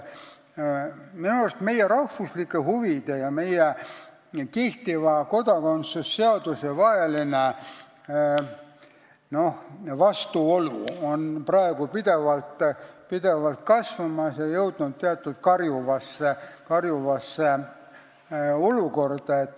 Minu arust meie rahvuslike huvide ja kehtiva kodakondsuse seaduse vaheline vastuolu praegu pidevalt kasvab ja oleme jõudnud karjuvasse olukorda.